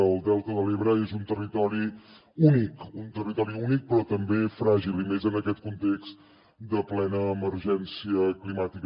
el delta de l’ebre és un territori únic un territori bonic però també fràgil i més en aquest context de plena emergència climàtica